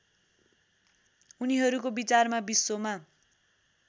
उनीहरूको विचारमा विश्वमा